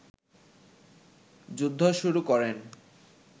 যুদ্ধ শুরু করেন